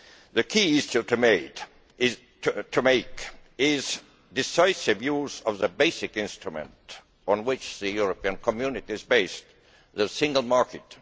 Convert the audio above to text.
The key issue is to make decisive use of the basic instrument on which the European Community is based the single market.